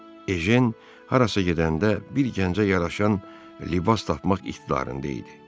Ejen harasa gedəndə bir gəncə yaraşan libas tapmaq iqtidarında idi.